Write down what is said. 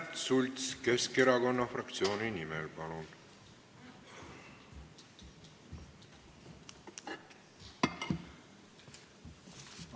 Märt Sults Keskerakonna fraktsiooni nimel, palun!